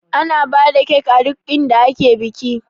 Ana bada kek a duk inda ake biki